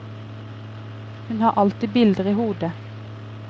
Hun har alltid bilder i hodet.